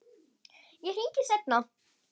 Ég hringi seinna.